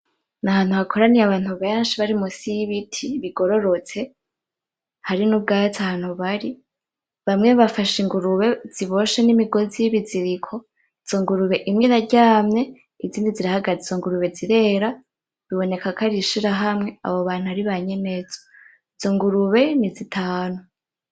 N'ahantu hakoraniye abantu benshi bari musi y’ibiti bigororotse, hari n'ubwatsi aho bari. Bamwe bafashe ingurube ziboshye n’imigozi y’ibiziriko. Izo ngurube imwe iraryamye, izindi zirahagaze. Izo ngurube zirera. Biboneka ko ari ishirahamwe, abo bantu ari banyenezo. Izo ngurube ni zitanu.